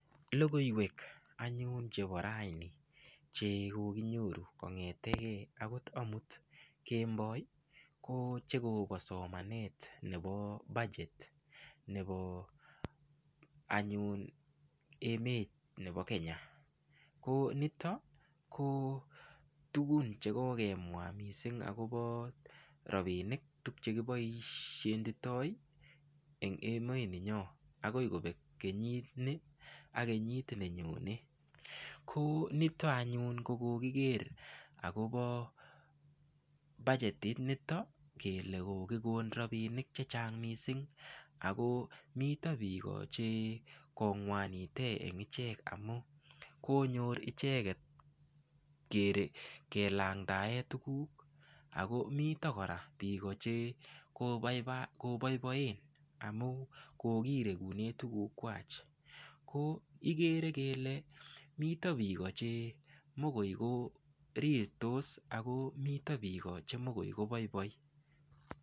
Lokoiwek anyun chebo raini che kokeinyoru kongetegei akot omut kemboi ko chekobo somanet nebo budget nebo anyun emet nebo Kenya ko nito ko tugun chekokemwa mising akopo ropinik tukche kiboishenditoi eng emet nenyoo akoi kopek kenyitni ak kenyit nenyone ko nito anyun kokokiker akobo bagetit nito kele kokikon ropinik chechang mising ako mito biko che kongwanite ing ichek amu konyor icheket kelangtae tukuk ako mito kora biiko chekoboiboen amu kokirekune tukuk kwach ko kikere kele mito biko che mokoi ko rirtos ako mito biko chemokoi koboiboi.